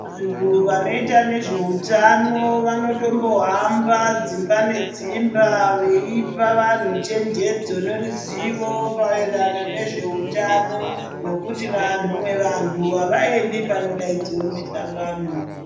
Vantu vanoita nezveutano, vanotombohamba dzimba nedzimba ,veipa vanhu chenjedzo noruzivo maererano nezveutano nokuti vanwe vantu avaendi panodaidziwe mihlangano.